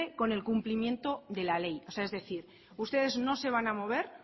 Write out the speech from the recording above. con el cumplimiento de la ley o sea es decir ustedes no se van a mover